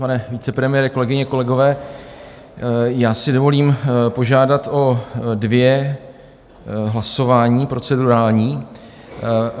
Pane vicepremiére, kolegyně, kolegové, já si dovolím požádat o dvě hlasování procedurální.